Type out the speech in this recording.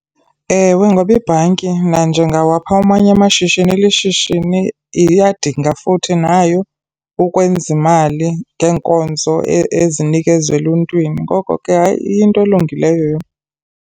Ewe, ngoba ibhanki nanjengawaphi amanye amashishini ilishishini, iyadinga futhi nayo ukwenza imali ngeenkonzo ezinikezwa eluntwini. Ngoko ke, hayi iyinto elungileyo yona.